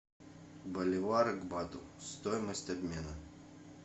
боливары к бату стоимость обмена